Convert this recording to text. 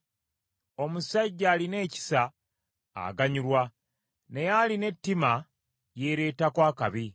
Omusajja alina ekisa aganyulwa, naye alina ettima yeereetako akabi.